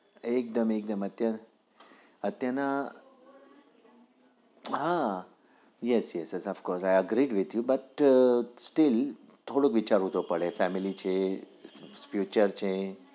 એકદમ એકદમ અત્યાર ના હાયેસ yes chess of course i agree with you થોડુંક વિચારવું તો પડે family છે future છે